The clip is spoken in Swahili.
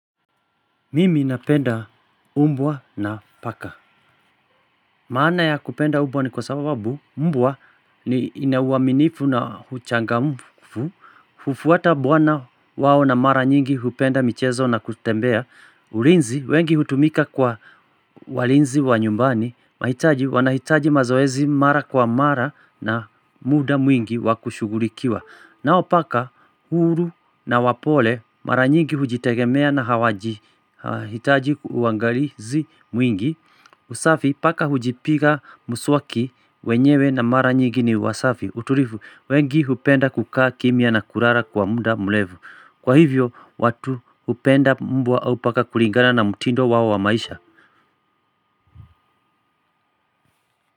Mimi napenda mbwa na paka. Maana ya kupenda mbwa ni kwa sababu mbwa ni ina uaminifu na uchangamfu. Hufuata bwana wao na mara nyingi hupenda michezo na kutembea. Ulinzi, wengi hutumika kwa walinzi wa nyumbani. Mahitaji, wanahitaji mazoezi mara kwa mara. Na muda mwingi wakushughulikiwa. Nao paka, huru na wapole. Mara nyingi hujitegemea na hawaji hitaji uangalizi mwingi. Usafi paka hujipiga muswaki wenyewe na mara nyingi ni wasafi. Utulifu, wengi hupenda kukaa kimya na kulala kwa muda mrefu. Kwa hivyo, watu hupenda mbwa au paka kulingana na mtindo wao wa maisha.